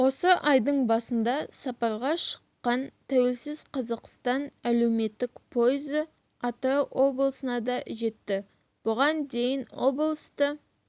осы айдың басында сапарға шыққан тәуелсіз қазақстан әлеуметтік пойызы атырау облысына да жетті бұған дейін облысты